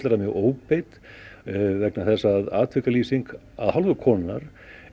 það mig óbeit vegna þess að af hálfu konunnar